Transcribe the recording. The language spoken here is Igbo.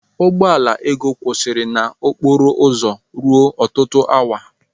Ụgbọ ala Ego kwụsịrị na okporo ụzọ ruo ọtụtụ awa.